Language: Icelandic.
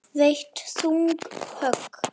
Veitt þung högg.